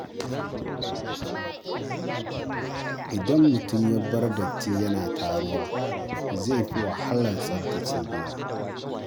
Idan mutum ya bar datti yana taruwa, zai fi wahala tsaftace gidan.